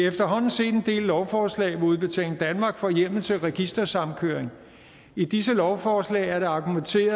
efterhånden set en del lovforslag hvor udbetaling danmark får hjemmel til registersamkøring og i disse lovforslag er der argumenteret